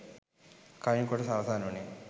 කලින් කොටස අවසන් උනේ